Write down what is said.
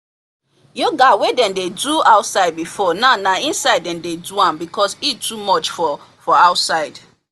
yoga wey dem dey do outside before now na inside dem dey doam because heat too much for for outside